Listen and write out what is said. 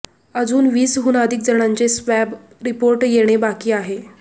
अजून वीसहुन अधिक जणांचे स्वॅब रिपोर्ट येणे बाकी आहे